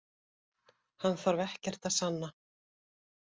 Hann þarf ekkert að sanna